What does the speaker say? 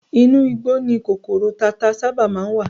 Inú igbó ni kòkòrò tata sábà má ń wà